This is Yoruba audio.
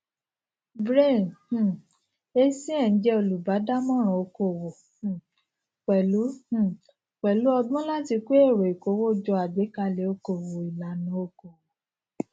brain um essien jẹ olùbádámọràn okòwò um pẹlú um pẹlú ọgbọn láti ko èrò ìkówójọ àgbékalẹ okòwò ìlànà okòwò